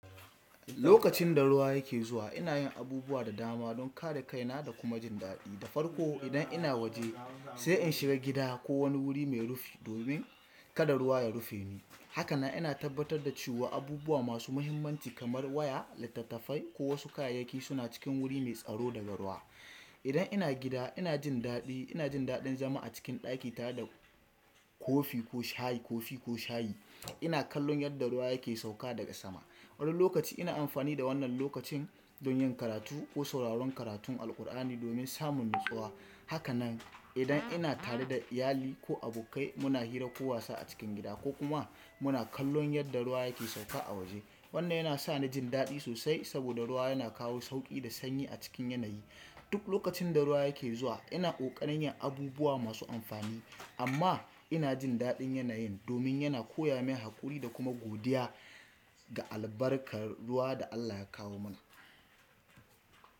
Lokacin da ruwa yake zuwa, ina yin abubuwa da dama don kare kaina da kuma jin daɗi. Da farko, idan ina waje, sai in shiga gida ko wani wuri mai rufi domin kada ruwa ya rufe ni. Hakanan, ina tabbatar da cewa abubuwa masu mahimmanci kamar waya, littattafai, ko wasu kayayyaki suna cikin wuri mai tsaro daga ruwa. Idan ina gida, ina jin daɗi. Ina jin daɗin zama a cikin ɗaki na da kofi ko shayi, kofi ko shayi. Ina kallon yadda ruwa yake sauka daga sama. Wani lokaci ina amfani da wannan lokacin don yin karatu ko sauraron karatun Alqur'ani domin samun natsuwa. Hakanan, idan ina tare da iyali ko abokai, muna hira ko wasa a cikin gida ko kuma muna kallon yadda ruwa yake sauka a waje. Wannan yana sa ni jin daɗi sosai saboda ruwa yana kawo sauƙi da sanyi a cikin yanayi. Duk lokacin da ruwa yake zuwa, ina ƙoƙarin yin abubuwa masu amfani amma ina jin daɗin yanayin domin yana koya min haƙuri da kuma godiya ga albarkar ruwa da Allah ya kawo mana.